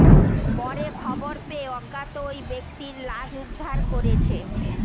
পরে খবর পেয়ে অজ্ঞাত ওই ব্যক্তির লাশ উদ্ধার করেছে